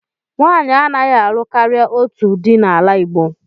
Nwanyị anaghị alụ karịa otu di n'ala Igbo.